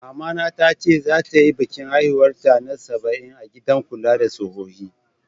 Mama ta tace zata yi bikin haihuwar ta na sabain a'gidan kulla da sohohi.